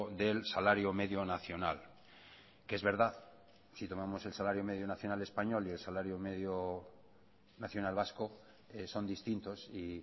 del salario medio nacional que es verdad si tomamos el salario medio nacional español y el salario medio nacional vasco son distintos y